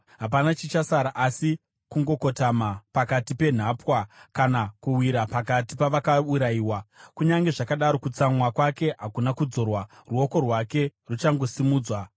Hapana chichasara asi kungokotama pakati penhapwa, kana kuwira pakati pavakaurayiwa. Kunyange zvakadaro, kutsamwa kwake hakuna kudzorwa, ruoko rwake ruchakangosimudzwa.